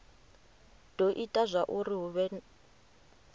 do ita zwauri hu vhe